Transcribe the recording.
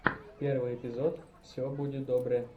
первый эпизод все буде добре